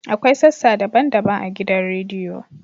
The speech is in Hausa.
Akwai sassa daban-daban a gidan rediyo.